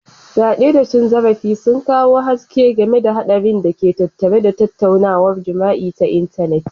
fiade da cin zarafi sun kawo haske game da haɗarin da ke tattare da tattaunawar jima'i ta intanet.